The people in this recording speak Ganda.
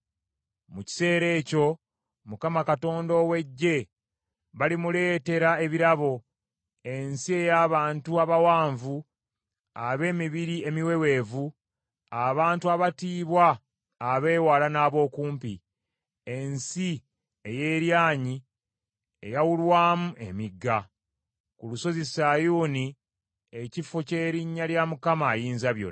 Mu kiseera ekyo Mukama Katonda ow’Eggye balimuleetera ebirabo, ensi ey’abantu abawanvu ab’emibiri emiweweevu, abantu abatiibwa abeewala n’abookumpi, ensi ey’eryanyi, eyawulwamu emigga, ku lusozi Sayuuni ekifo ky’erinnya lya Mukama Ayinzabyonna.